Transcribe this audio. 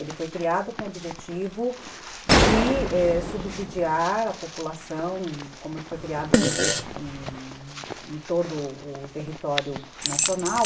Ele foi criado com o objetivo de, ãh, subsidiar a população, como ele foi criado em o todo o território nacional,